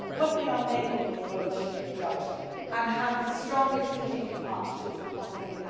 and work in our neighbourhoods, where we should be judged and have the strongest strategic partnerships we possible.